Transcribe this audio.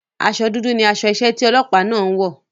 Asọ dúdú ni aṣọ iṣẹ́ tí ọlọ́pàá náà ń wọ̀.